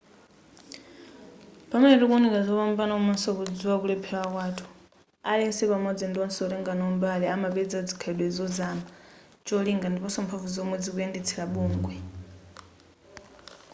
pamene tikuwunika zopambana komaso kudziwa kulephera kwathu aliyense pamodzi ndi wonse wotenga nawo mbali amapeza zikhalidwe zozama cholinga ndiponso mphamvu zomwe zikuyendetsera bungwe